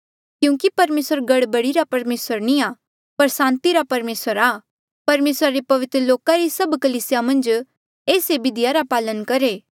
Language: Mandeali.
क्यूंकि परमेसर गड़बड़ी रा परमेसर नी आ पर सांति रा परमेसर आ परमेसरा रे पवित्र लोका री सभ कलीसिया मन्झ एस ऐें बिधिया रा पालन करहे